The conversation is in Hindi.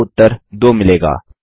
आपको उत्तर 2 मिलेगा